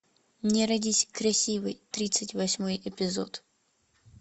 не родись красивой тридцать восьмой эпизод